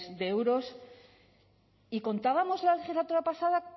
de euros y contábamos la legislatura pasada